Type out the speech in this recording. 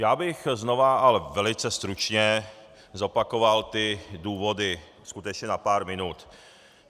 Já bych znova, ale velice stručně, zopakoval ty důvody, skutečně na pár minut.